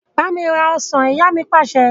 Bámi rà ọ́ṣán! Ìyá mi Pàṣẹ.